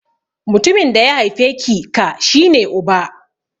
Mutumin da ya haife ki /ka shi ne Uba.